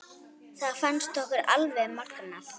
Það fannst okkur alveg magnað.